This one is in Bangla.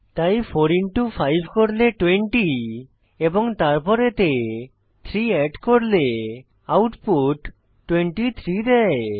তাই 4 ইনটু 5 করলে 20 এবং তারপর এতে 3 অ্যাড করলে আউটপুট 23 দেয়